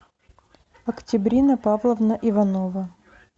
октябрина павловна иванова